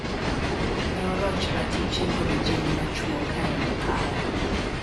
Ne oroch ratiche kod ojende ma chwo kaen epaya.